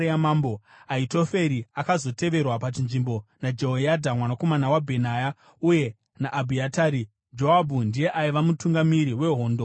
(Ahitoferi akazoteverwa pachinzvimbo naJehoyadha mwanakomana waBhenaya uye naAbhiatari.) Joabhu ndiye aiva mutungamiri wehondo yamambo.